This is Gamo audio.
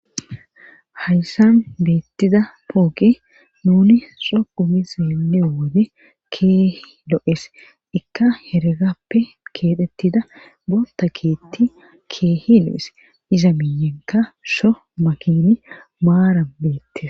Hayssan beettida pooke nuni so qumi seeleo wode keehi lo7es ikka heregappe keethettida boonta keetti keehi lo7es iza miiyenka sho makini maaran beettia